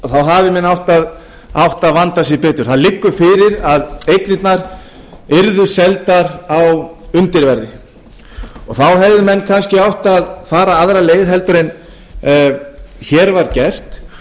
þá hafi menn átt að vanda sig betur það liggur fyrir að eignirnar yrðu seldar á undirverði þá hefðu menn kannski átt að fara aðra leið heldur en hér var gert og